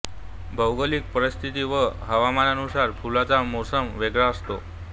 भोगलिक परीस्थिती व हवामानानुसार फुलण्याचा मोसम वेगळा असतो